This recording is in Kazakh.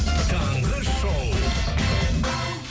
таңғы шоу